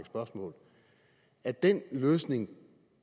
spørgsmål at den løsning